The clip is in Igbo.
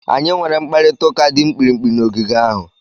Anyị nwere mkparịta ụka dị mkpirikpi n'ogige ahụ.